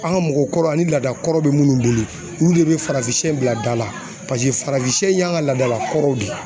An ka mɔgɔkɔrɔ an ni laada kɔrɔ bɛ minnu bolo olu de bɛ farafinsɛw bila da la paseke farafinsɛ in y'an ka laadala kɔrɔw de ye.